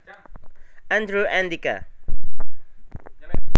Andrew Andika